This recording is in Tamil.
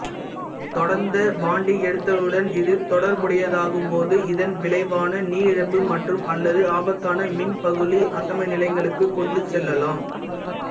தொடர்ந்த வாந்தி எடுத்தலுடன் இது தொடர்புடையதாகும்போது இதன் விளைவான நீரிழப்பு மற்றும்அல்லது ஆபத்தான மின்பகுளி அசம நிலைகளுக்குக் கொண்டு செல்லலாம்